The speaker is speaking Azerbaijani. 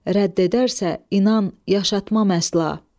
Rədd edərsə inan yaşatmaq əsla.